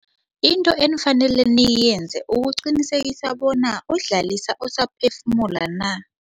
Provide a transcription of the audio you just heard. Into enifanele niyenze ukuqinisekisa bona uDlalisa usaphefumula na.